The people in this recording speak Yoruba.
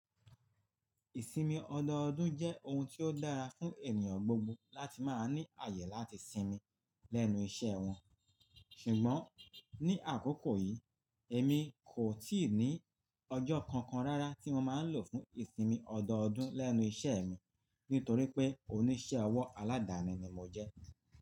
Ìsinmi ọdọọdún jẹ́ ohun tí ó dára fún ènìyàn gbogbo láti máa ní ààyè láti sinmi lẹ́nu iṣẹ́ wọn. Ṣùgbọ́n ní àkókò yìí èmi kò tíì ní ọjọ́ kankan rárá tí mo máa ń lò fún ìsinmi ọdọọdún lẹ́nu iṣẹ́ mi nítorí pé oníṣẹ́ ọwọ́ aládàáni ni mo jẹ́.